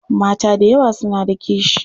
Mata da yawa suna da kishi.